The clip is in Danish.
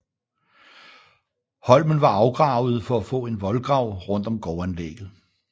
Holmen var afgravet for at få en voldgrav rundt om gårdanlægget